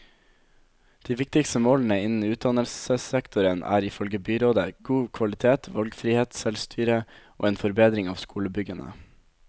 De viktigste målene innen utdannelsessektoren er, ifølge byrådet, god kvalitet, valgfrihet, selvstyre og en forbedring av skolebyggene.